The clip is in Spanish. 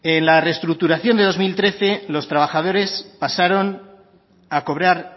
en la restructuración de dos mil trece los trabajadores pasaron a cobrar